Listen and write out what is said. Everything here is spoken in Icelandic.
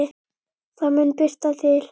Það mun birta til.